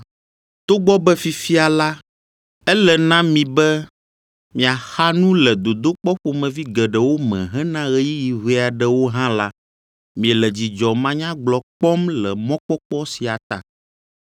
Togbɔ be fifia la, ele na mi be miaxa nu le dodokpɔ ƒomevi geɖewo me hena ɣeyiɣi ʋɛ aɖewo hã la, miele dzidzɔ manyagblɔ kpɔm le mɔkpɔkpɔ sia ta.